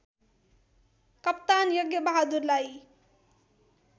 कप्तान यज्ञबहादुरलाई